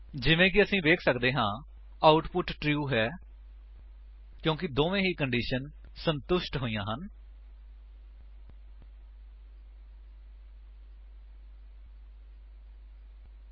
ਜਿਵੇਂ ਕਿ ਅਸੀ ਵੇਖ ਸੱਕਦੇ ਹਨ ਆਉਟਪੁਟ ਟਰੂ ਹੈ ਕਿਉਂਕਿ ਦੋਨਾਂ ਹੀ ਕੰਡੀਸ਼ੰਸ ਸੰਤੁਸ਼ਟ ਹੋਈਆਂ ਹਾਂ